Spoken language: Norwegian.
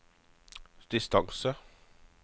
distance